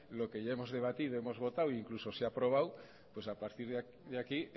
lo que ya hemos debatido hemos votado e incluso se ha aprobado pues a partir de aquí